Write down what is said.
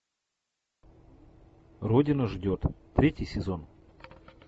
родина ждет третий сезон